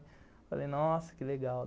Falei, nossa, que legal.